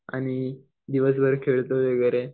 आणि दिवसभर खेळतो वगैरे.